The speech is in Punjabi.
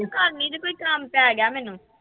ਕਰਨੀ ਜੇ, ਕੋਈ ਕੰਮ ਪੈ ਗਿਆ ਮੈਨੂੰ।